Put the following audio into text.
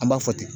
An b'a fɔ ten